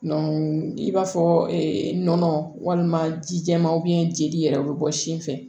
i b'a fɔ nɔnɔ walima ji jɛman jeli yɛrɛ be bɔ sin fɛ